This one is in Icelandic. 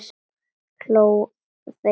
Hló að þeim í laumi.